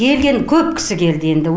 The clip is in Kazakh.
келген көп кісі келді енді